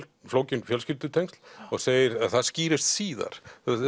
flókin fjölskyldutengsl og segir að það skýrist síðar